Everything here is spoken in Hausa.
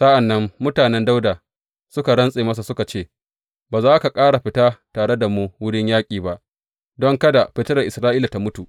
Sa’an nan mutanen Dawuda suka rantse masa suka ce, Ba za ka ƙara fita tare da mu wurin yaƙi ba, don kada fitilar Isra’ila tă mutu.